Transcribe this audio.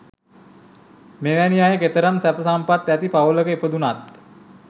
මෙවැනි අය කෙතරම් සැප සම්පත් ඇති පවුලක ඉපදුණත්